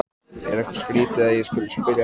Er eitthvað skrýtið að ég skuli spyrja að því?